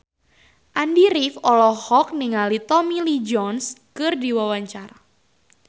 Andy rif olohok ningali Tommy Lee Jones keur diwawancara